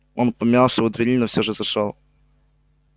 он помялся у двери но все же зашёл